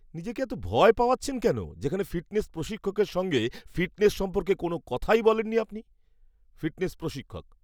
নিজেকে এত ভয় পাওয়াচ্ছেন কেন যেখানে ফিটনেস প্রশিক্ষকের সঙ্গে ফিটনেস সম্পর্কে কোনও কথাই বলেন নি আপনি! ফিটনেস প্রশিক্ষক